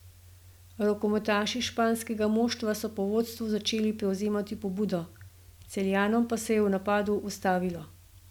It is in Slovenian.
Rokometaši španskega moštva so po vodstvu začeli prevzemati pobudo, Celjanom pa se je v napadu ustavilo.